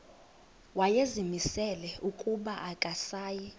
wayezimisele ukuba akasayi